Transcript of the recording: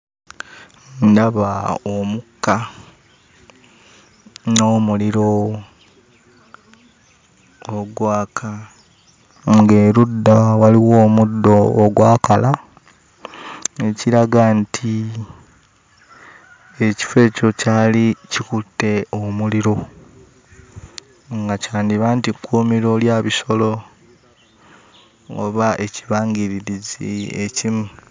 Ndaba omukka n'omuliro ogwaka ng'erudda waliwo omuddo ogwakala ekiraga nti ekifo ekyo kyali kikutte omuliro nga kyandiba nti kkuumiro lya bisolo oba ekibangirizi ekimu.